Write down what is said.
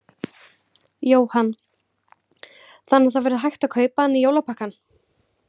Jóhann: Þannig að það verður hægt að kaupa hann í jólapakkann?